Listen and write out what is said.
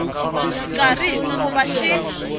xikarhi hi ku va xi